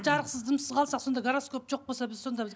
жарықсыз дымсыз қалсақ сонда гороскоп жоқ болса біз сонда біз